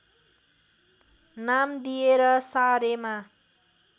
नाम दिएर सारेमा